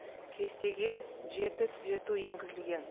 кестеге жеті түзету енгізілген